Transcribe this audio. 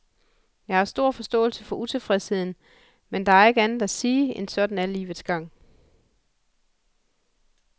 Jeg har stor forståelse for utilfredsheden, men der er ikke andet at sige end sådan er livets gang.